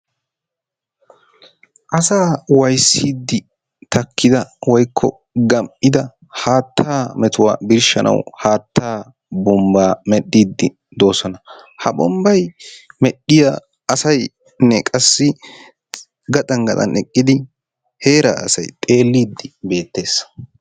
Asaa waayissidi takkida woykko gam'ida haattaa mettuwa birshanawu haattaa bombaa medhiidi doosona. Ha bombbay medhiya asaynne qasi gaxan gaxan eqqidi heeraa asay xeelliidi beettees.